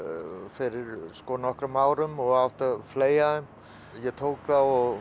fyrir nokkrum árum og átti að fleygja ég tók þá og